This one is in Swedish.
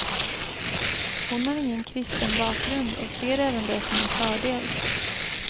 Hon har ingen kristen bakgrund och ser även det som en fördel.